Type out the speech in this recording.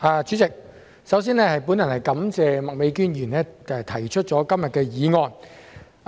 代理主席，我首先感謝麥美娟議員今天動議議案。